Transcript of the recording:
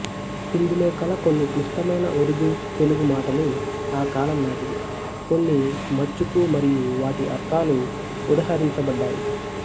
ఇందులో కల కొన్ని క్లిష్టమైన ఉరుదుతెలుగు మాటలు ఆ కాలంనాటివి కొన్ని మచ్చుకు మరియూ వాటి అర్ధాలు ఉదహరించబడ్డాయి